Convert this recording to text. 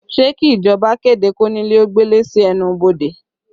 Ṣé kí ìjọba kéde konile ó gbele sí ẹnu ibodè?